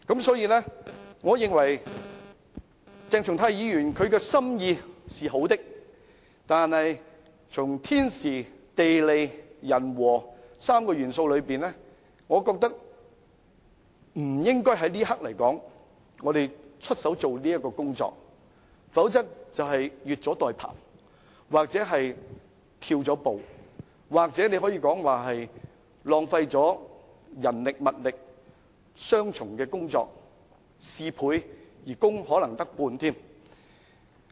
所以，我認為鄭松泰議員的心意是好的，但從天時、地利、人和3個元素考慮，我覺得不應在這一刻進行這項工作，否則便是越俎代庖，或是偷步，或者更可以說是浪費人力和物力，做了雙重的工作，事倍而可能只有功半。